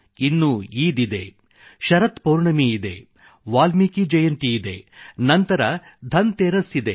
ಇನ್ನು ಈದ್ ಇದೆ ಶರತ್ ಪೌರ್ಣಮಿ ಇದೆ ವಾಲ್ಮೀಕಿ ಜಯಂತಿಯಿದೆ ನಂತರ ಧನ್ ತೇರಸ್ ಇದೆ